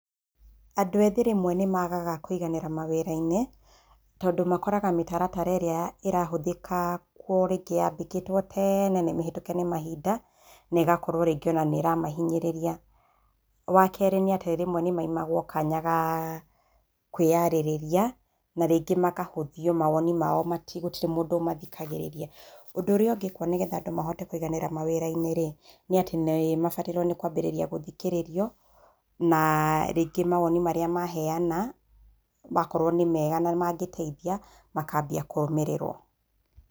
Andũ ethĩ rĩmwe nĩmagaga kwĩganĩra mawĩra-inĩ tondũ makoraga mĩtaratara ĩrĩa ĩrahũthika rĩngĩ yahĩtũkire tene níĩĩhĩtũke nĩ mahinda ne ĩgakorwo rĩngĩ nĩrahanyĩrĩria. Wakerĩ rĩmwe nĩmaimagwo kanya ga kwĩyarĩrĩria na rĩngĩ makahũthia maoni mao gũtire mũndũ ũmathikagĩrĩria, ũndũ ũrĩa ũngĩ nĩgetha andũ mahote kĩganĩra mawĩrainĩ rĩ, nĩ atĩ nĩmabatie kwambirĩria gũthikĩrĩrio na[uhh]rĩngĩ mawoni marĩa maneana makorwo nĩ mega mangĩteithia makabia kũrũmĩrĩrwo.